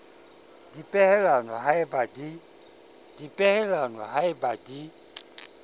dipehelano ha e ba di